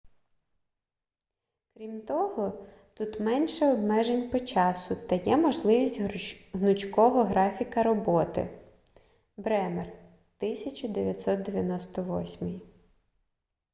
крім того тут менше обмежень по часу та є можливість гнучкого графіка роботи бремер 1998